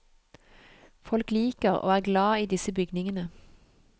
Folk liker og er glad i disse bygningene.